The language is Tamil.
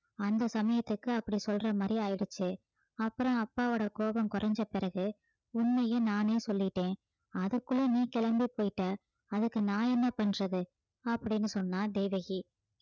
அந்த சமயத்துக்கு அப்படி சொல்ற மாதிரி ஆயிடுச்சு அப்புறம் அப்பாவோட கோபம் குறைஞ்ச பிறகு உண்மையை நானே சொல்லிட்டேன் அதுக்குள்ள நீ கிளம்பி போயிட்ட அதுக்கு நான் என்ன பண்றது அப்படின்னு சொன்னா தேவகி